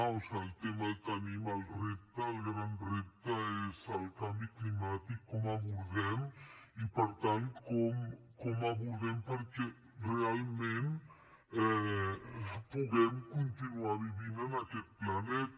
o sigui el tema el tenim el repte el gran repte és el canvi climàtic com abordem i per tant com abordem perquè realment puguem continuar vivint en aquest planeta